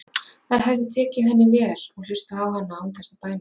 Þær hefðu tekið henni vel og hlustað á hana án þess að dæma.